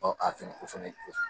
Ɔ a fana o fana ye